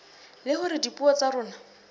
le hore dipuo tsa rona